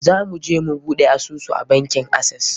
Za mu je mu buɗe asusu a bankin Access.